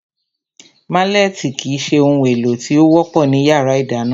Málẹ̀tì kìí se ohun èlò tí ó wọ́pọ̀ ní yàrá ìdáná